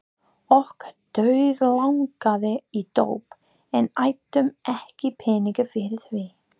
Okkur dauðlangaði í dóp en áttum ekki peninga fyrir því.